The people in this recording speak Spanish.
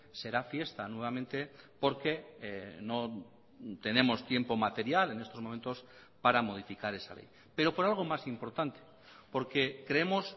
será fiesta nuevamente porque no tenemos tiempo material en estos momentos para modificar esa ley pero por algo más importante porque creemos